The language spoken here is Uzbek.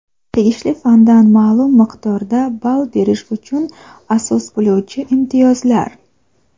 tegishli fandan ma’lum miqdorda ball berish uchun asos bo‘luvchi imtiyozlar.